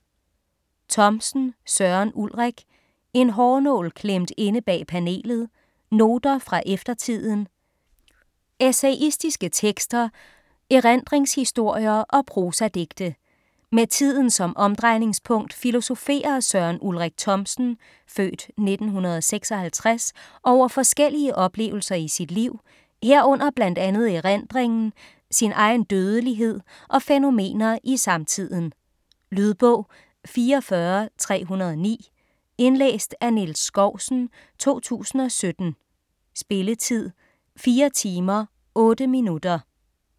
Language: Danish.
Thomsen, Søren Ulrik: En hårnål klemt inde bag panelet: noter fra eftertiden Essayistiske tekster, erindringshistorier og prosadigte. Med tiden som omdrejningspunkt filosoferer Søren Ulrik Thomsen (f. 1956) over forskellige oplevelser i sit liv, herunder bl.a. erindringen, sin egen dødelighed og fænomener i samtiden. Lydbog 44309 Indlæst af Niels Skousen, 2017. Spilletid: 4 timer, 8 minutter.